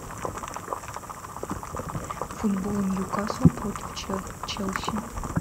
футбол ньюкасл против челси